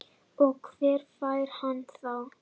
Og hver fær hana þá?